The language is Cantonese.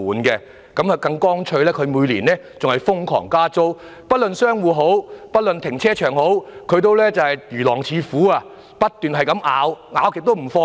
領展更乾脆地每年瘋狂調升租金，不論是商戶或停車場，領展也如狼似虎般，不斷地咬，完全不放鬆。